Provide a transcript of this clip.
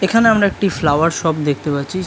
এখানে আমরা একটি ফ্লাওয়ার শপ দেখতে পাচ্ছি।